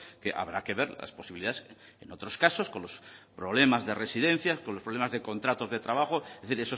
que habrá que ver las posibilidades en otros casos con los problemas de residencia con los problemas de contratos de trabajo es decir